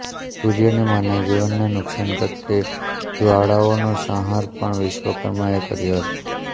સૂર્યની માનવજીવનને નુકસાન કરતી જવાળાઓનો સંહાર પણ વિશ્વકર્માએ કર્યો હતો